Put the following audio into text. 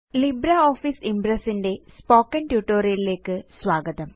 LibreOffice Impress ന്റെ spoken tutorial ലേയ്ക്ക് സ്വാഗതം